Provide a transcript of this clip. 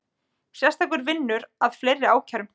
Sérstakur vinnur að fleiri ákærum